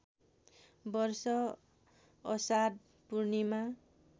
वर्ष अषाढ पूर्णिमा